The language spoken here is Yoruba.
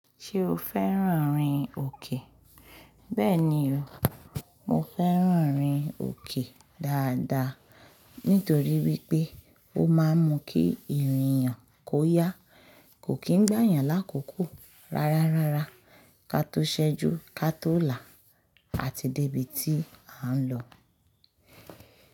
Ṣé o fẹ́ràn rin òkè? Bẹ́ẹ̀ni o, mo fẹ́ràn rin òkè dáadáa nítorí wípé ó máa ń mú kí ìrìn yàn kó yá, kò kí ń gbà yàn lákòókò, rárárárá, ká tó ṣẹ́jú, ká tó là, a ti débí tí à ń lọ.